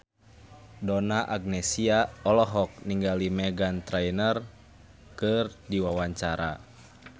Donna Agnesia olohok ningali Meghan Trainor keur diwawancara